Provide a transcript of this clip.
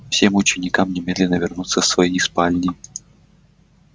всем ученикам немедленно вернуться в свои спальни